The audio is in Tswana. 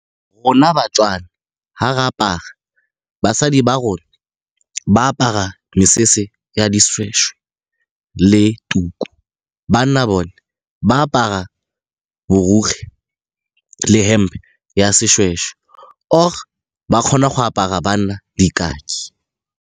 Rona baTswana ga re apara, basadi ba rona, ba apara mesese ya dishweshwe le tuku. Banna bone ba apara borukgwe le hempe ya seshweshwe or-e ba kgona go apara banna di .